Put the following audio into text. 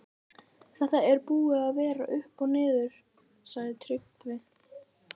Þetta er búið að vera upp og niður, sagði Tryggvi.